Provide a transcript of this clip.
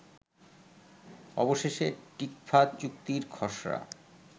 অবশেষে টিকফা চুক্তির খসড়া